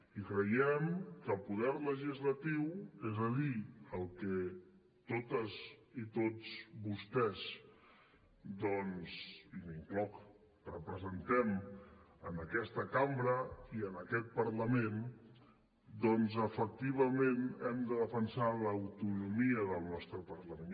i creiem que el poder legislatiu és a dir el que totes i tots vostès i m’incloc representem en aquesta cambra i en aquest parlament doncs efectivament hem de defensar l’autonomia del nostre parlament